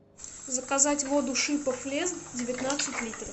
заказать воду шипов лес девятнадцать литров